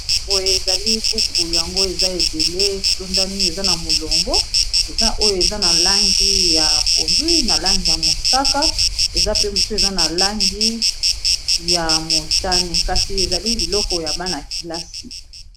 Boye ezali buku yango eza ebele etondami eza na molongo eza oyo na langi ya pondu na langi ya mosaka eza pe mosusu eza na langi ya motane kasi ezali biloko ya bana kelasi.